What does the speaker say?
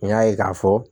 N y'a ye k'a fɔ